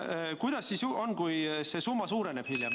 Kuidas siis on, kui see summa suureneb hiljem?